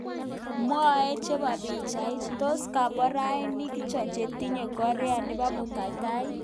Mwauti chebo pichait, tos komborainik ngircho che tinye Korea nebo murotkatam